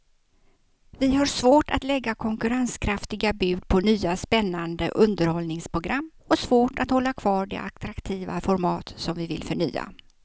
Vi har svårt att lägga konkurrenskraftiga bud på nya spännande underhållningsprogram och svårt att hålla kvar de attraktiva format som vi vill förnya.